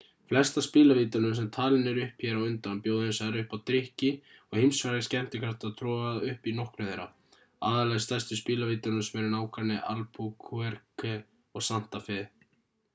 flest af spilavítunum sem talin eru upp hér á undan bjóða hins vegar upp á drykki og heimsfrægir skemmtikraftar troða upp í nokkrum þeirra aðallega í stærstu spilavítunum sem eru í nágrenni albuquerque og santa fe